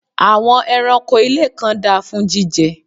àwọn ẹranko ilé kan da fún jíjẹ